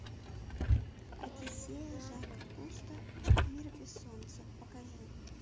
одиссея жака кусто мир без солнца покажи